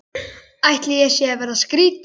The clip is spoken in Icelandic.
Ætli ég sé að verða skrýtin.